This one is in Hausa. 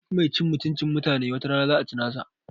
Duk mai cin mutuncin mutanen wata rana za a ci nasa